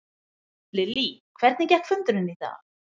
Lillý, hvernig gekk fundurinn í dag?